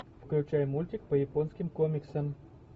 включай мультик по японским комиксам